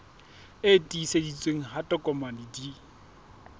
e tiiseditsweng ha ditokomane di